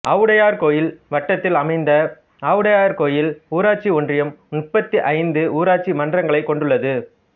ஆவுடையார்கோயில் வட்டத்தில் அமைந்த ஆவுடையார்கோயில் ஊராட்சி ஒன்றியம் முப்பத்தி ஐந்து ஊராட்சி மன்றங்களைக் கொண்டுள்ளது